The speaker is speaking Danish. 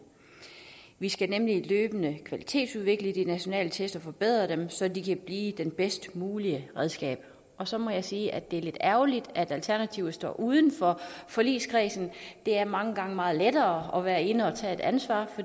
vi skal nemlig løbende kvalitetsudvikle de nationale test og forbedre dem så de kan blive det bedst mulige redskab så må jeg sige det er lidt ærgerligt at alternativet står uden for forligskredsen det er mange gange meget lettere at være inde og tage et ansvar